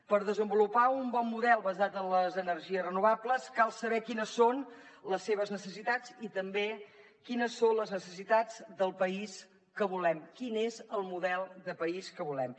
per desenvolupar un bon model basat en les energies renovables cal saber quines són les seves necessitats i també quines són les necessitats del país que volem quin és el model de país que volem